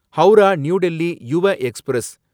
Howrah new Delhi Yuva express